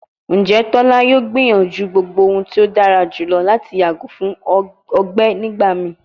Njẹ tola yoo gbiyanju gbogbo ohun ti o dara julọ lati yago fun ọgbẹ nigbamii?